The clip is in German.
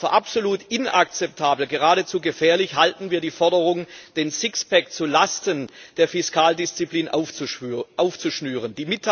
Für absolut inakzeptabel, geradezu gefährlich, halten wir die Forderung, den Sixpack zu Lasten der Fiskaldisziplin aufzuschnüren.